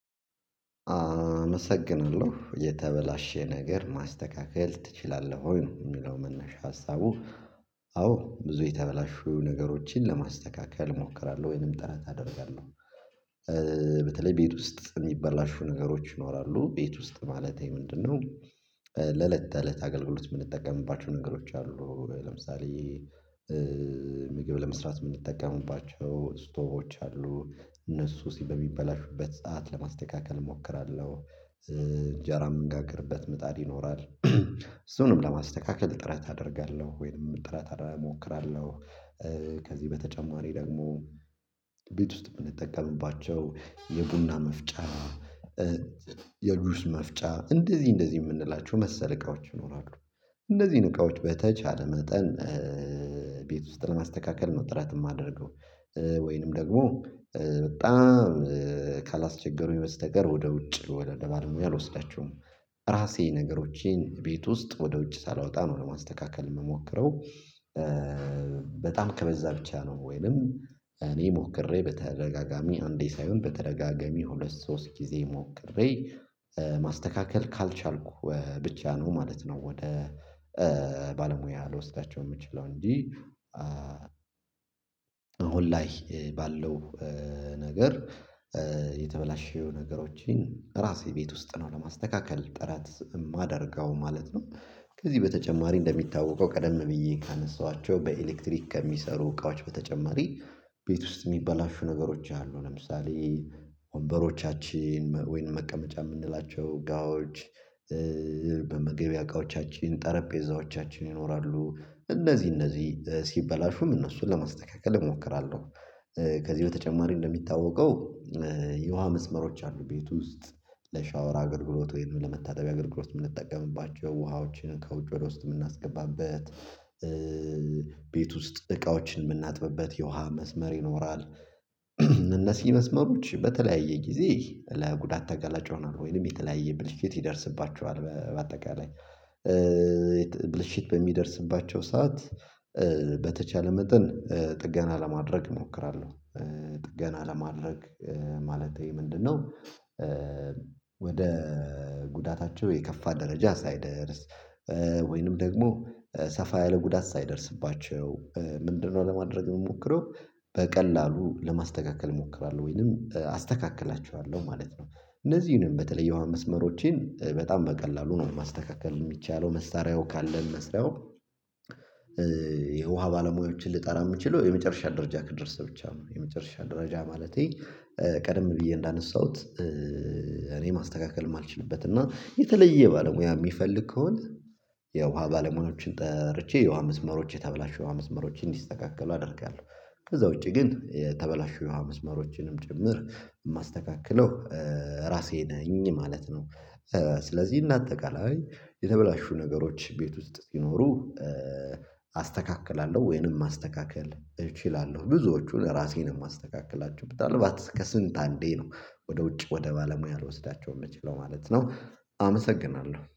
አመሰግናለሁ የተበላሸ ነገር ማስተካከል ትችላለህ ወይ? የሚለው መነሻ ሀሳቡ አዎ ብዙ የተበላሹ ነገሮችን ለማስተካከል እሞክራለሁ ወይንም ጥረት አደርጋለሁ። በተለይ ቤት ውስጥ የሚበላሹ ነገሮች ይኖራሉ ቤት ውስጥ ማለቴ ምንድነው? እለት ተእለት አገልግሎት የምንጠቀምባቸው ነገሮች አሉ ለምሳሌ ምግብ ለመስራት የምንጠቀሙባቸው ስቶቦች አሉ እነሱ ሲ በሚበላሹበት ሰዓት ለማስተካከል እሞክራለሁ። እንጀራ ምን ጋር ቅርበት ምጣድ ይኖራል እሱንም ለማስተካከል ጥረት አደርጋለሁ ወይም ጥራት አደርጋለሁ። ከዚህ በተጨማሪ ደግሞ ቤት ውስጥ የምንጠቀምባቸው የቡና መፍጫ የጁስ መፍጫ እንደዚህ እንደዚህ የምንላቸው መሰለ እቃዎች ይኖራሉ እንደዚህ እቃዎች በተቻለ መጠን ቤት ውስጥ ለማስተካከል ነው ጥረት የማደርገው። ወይንም ደግሞ በጣም ካላስቸገሩኝ በስተቀር ወደ ውጭ ወደ ማለት ነው ያልወሰዳችው ራሴ ነገሮቼን ቤት ውስጥ ወደ ውጭ ሳላወጣ ነው ለማስተካከል የምሞክረው። በጣም ከበዛ ብቻ ነው ወይንም እኔ ሞክሬ በተረጋጋሚ አንዴ ሳይሆን በተረጋጋሚ ሁለት ሶስት ጊዜ ሞክሬ ማስተካከል ካልቻልኩ ብቻ ነው ማለት ነው። ወደ ባለሙያ ልወስዳቸው የምችለው እንጂ አሁን ላይ ባለው ነገር የተበላሸው ነገሮችን ራሴ ቤት ውስጥ ነው ለማስተካከል ጥራት የማደርገው ማለት ነው። ከዚህ በተጨማሪ እንደሚታወቀው ቀደም ብዬ ካነሳኋቸው በኤሌክትሪክ ከሚሰሩ እቃዎች በተጨማሪ ቤት ውስጥ የሚበላሹ ነገሮች አሉ ለምሳሌ ወንበሮቻችን ወይን መቀመጫ የምንላቸው ጋዎች በመግቢያ እቃዎቻችን ጠረጴዛዎቻችን ይኖራሉ እነዚህ እነዚህ ሲበላሹም እነሱን ለማስተካከል እሞክራለሁ። ከዚህ በተጨማሪ እንደሚታወቀው የውሃ መስመሮች አሉ ቤት ውስጥ ለሻወር አገልግሎት ወይም ለመታደቢያ አገልግሎት የምንጠቀምባቸው ውሃዎችን ከውጭ ወደ ውስጥ የምናስገባበት ቤት ውስጥ እቃዎችን የምናጥብበት የውሃ መስመር ይኖራል። እነሲ መስመሮች በተለያየ ጊዜ ለጉዳት ተገላጭ ሆነዋል ወይም የተለያየ ብልሽ የት ይደርስባቸዋል በአጠቃላይ ብልሽት በሚደርስባቸው ሰዓት በተቻለ መጠን ጥገና ለማድረግ እሞክራለሁ ጥገና ለማድረግ ማለቴ ምንድነው? ወደ ጉዳታቸው የከፋ ደረጃ ሳይደርስ ወይንም ደግሞ ሰፋ ያለ ጉዳት ሳይደርስባቸው ምንድነው ለማድረግ የምሞክረው በቀላሉ ለማስተካከል እሞክራለሁ ወይንም አስተካክላችኋለሁ ማለት ነው። እነዚህንም በተለየው መስመሮቼን በጣም በቀላሉ ነው ማስተካከል የሚቻለው መሳሪያው ካለን። የውሃ ባለሙያዎችን ልጠራ የምችለው የመጨረሻ ደረጃ ክድረስ ብቻ ነው የመጨረሻ ደረጃ ማለቴ ቀደም ብዬ እንዳነሳሁት እኔ ማስተካከልም አልችልበት እና የተለየ ባለሙያ የሚፈልግ ከሆነ የውሃ ባለሙያዎችን ጠርቼ የውሃ መስመሮች የተበላሹ የውሃ መስመሮችን እንዲስተካከሉ አደርጋለሁ። ከዛ ውጪ ግን የተበላሹ የውሃ መስመሮችንም ጭምር የማስተካክለው ራሴ ነኝ ማለት ነው። ስለዚህ እና አጠቃላይ የተበላሹ ነገሮች ቤት ውስጥ ሲኖሩ አስተካክላለሁ ወይንም ማስተካከል እችላለሁ ብዙዎቹን ራሴን የማስተካክላቸው ብታልፍ ከስንት አንዴ ነው ወደ ውጭ ወደ ባለሙያ አልወስዳቸውም የምችለው ማለት ነው። አመሰግናለሁ